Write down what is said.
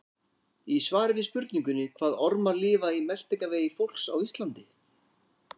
Í svari við spurningunni Hvaða ormar lifa í meltingarvegi fólks á Íslandi?